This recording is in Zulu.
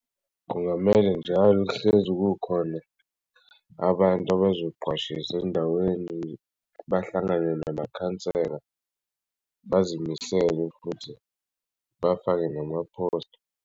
Kungamele njalo kuhlezi kukhona abantu abazoqashisw'endaweni bahlangane namakhansela bazimisele futhi bafake nama phosta.